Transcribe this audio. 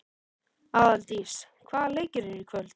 Aðaldís, hvaða leikir eru í kvöld?